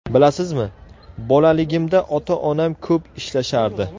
Bilasizmi, bolaligimda ota-onam ko‘p ishlashardi.